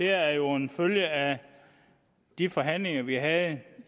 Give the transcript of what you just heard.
er jo en følge af de forhandlinger vi havde